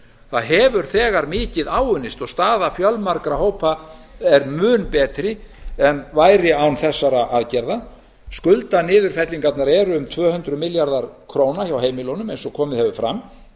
það hefur þegar mikið áunnist og staða fjölmargra hópa er mun betri en væri án þessara aðgerða skuldaniðurfellingarnar eru um tvö hundruð milljarðar króna hjá heimilunum eins og komið hefur fram